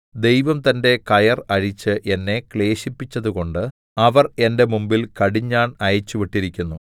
ദൈവം തന്റെ കയർ അഴിച്ച് എന്നെ ക്ലേശിപ്പിച്ചതുകൊണ്ട് അവർ എന്റെ മുമ്പിൽ കടിഞ്ഞാൺ അയച്ചുവിട്ടിരിക്കുന്നു